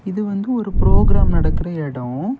இது வந்து ஒரு ப்ரோக்ராம் நடக்கிற எடம்.